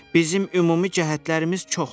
Bizim ümumi cəhətlərimiz çoxdur.